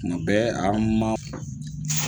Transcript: Tuma bɛ an maaa.